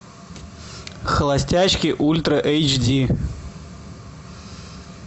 холостячки ультра эйч ди